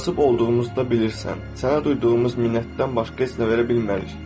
Kasıb olduğumuzda bilirsən, sənə duyduğumuz minnətdən başqa heç nə verə bilmərik.